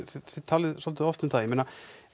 talið svolítið of um það ég meina